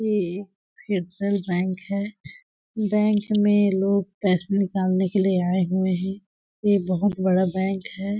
ये फेडरल बैंक है बैंक मे लोग कैश भी निकालने के लिए आए हुए है। ये बहुत बड़ा बैंक है।